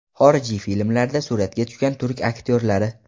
Xorijiy filmlarda suratga tushgan turk aktyorlari .